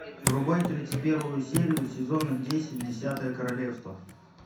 врубай тридцать первую серию сезона десять десятое королевство